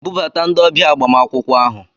Bubata ndi ọbịa agbamakwụkwọ ahụ!